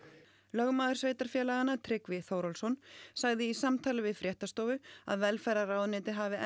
lögmaður sveitarfélaganna Tryggvi Þórhallsson sagði í samtali við fréttastofu að velferðarráðuneytið hafi